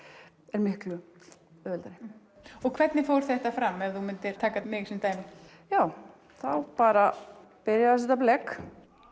er miklu auðveldari og hvernig fór þetta fram ef þú myndir taka mig sem dæmi já þá bara byrja að setja blek